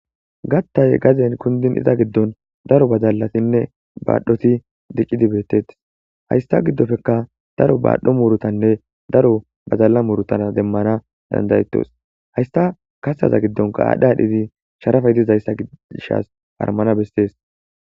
Gattay gazen kundin iza giddon daro bazallatinne baadhoti dicidi beettettes haysta giddofeka daro baadhdho murutanne daro bazalla muurutana demmana dandayettos haysta kastaza giddonka aadhdha adhidi sharafay dizayssa giddishas harmana bessees.